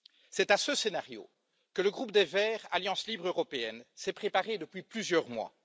C'est à ce scénario que le groupe des Verts Alliance libre européenne s'est préparé depuis plusieurs mois.